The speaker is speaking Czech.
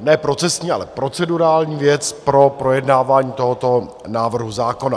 ne procesní, ale procedurální věc pro projednávání tohoto návrhu zákona.